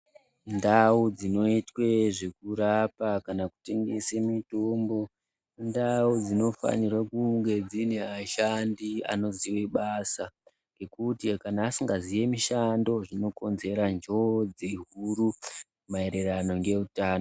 Ndau dzinoitwa zvekurapwa kana kutengese mitombo, indau dzinofanirwa kunge dzine vashandi vanoziva basa ngekuti kana vasingazivi mushando ndozvikonzera njodzi huru maerano ngeutano.